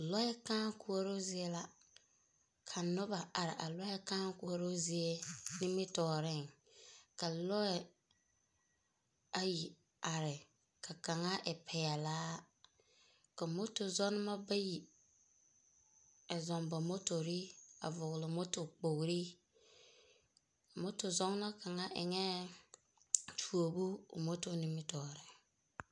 Lͻԑ kãã koͻroo zie la. Ka noba are a lͻԑ kãã koͻroo zie nimitͻͻreŋ. Ka lͻԑ ayi are ka kaŋa e peԑlaa. Ka moto zͻͻnebͻ bayi a zͻͻŋ ba motori a vͻgele motori kpogili. Moto zͻͻnͻ kaŋa eŋԑԑ tuobu o moto nimitͻͻreŋ.